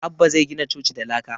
Abbah zai gina coci da laka